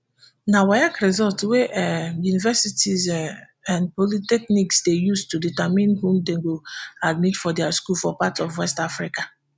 na waec results wey um universities um and polytechnics dey use to determine who dem go admit for dia school for parts of west africa